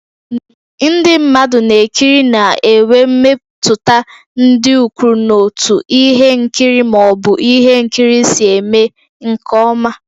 Ndị mmadụ na-ekiri na-enwe mmetụta dị ukwuu n'otú ihe nkiri ma ọ bụ ihe nkiri si eme nke ọma.